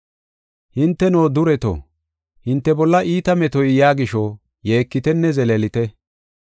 Hinteno, dureto, hinte bolla iita metoy yaa gisho yeekitenne zeleelite.